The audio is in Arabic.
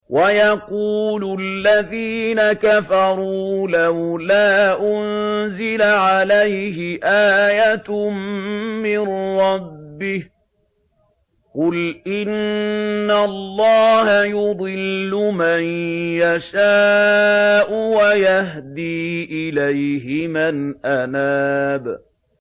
وَيَقُولُ الَّذِينَ كَفَرُوا لَوْلَا أُنزِلَ عَلَيْهِ آيَةٌ مِّن رَّبِّهِ ۗ قُلْ إِنَّ اللَّهَ يُضِلُّ مَن يَشَاءُ وَيَهْدِي إِلَيْهِ مَنْ أَنَابَ